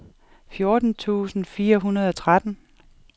fjorten tusind fire hundrede og tretten